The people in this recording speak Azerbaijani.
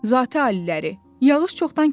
Zati Aliləri, yağış çoxdan kəsib.